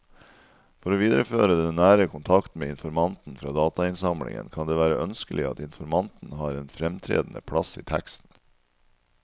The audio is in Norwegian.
For å videreføre den nære kontakten med informanten fra datainnsamlingen kan det være ønskelig at informanten har en fremtredende plass i teksten.